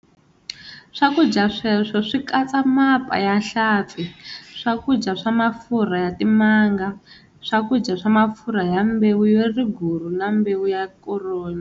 Swakudya sweswo swi katsa mapa ya hlampfi, swakudya swa mafurha ya timanga, swakudya swa mafurha ya mbewu ya riguru na mbewu ya koroni.